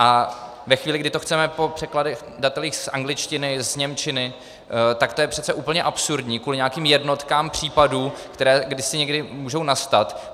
A ve chvíli, kdy to chceme po překladatelích z angličtiny, z němčiny, tak to je přece úplně absurdní kvůli nějakým jednotkám případů, které jaksi někdy můžou nastat.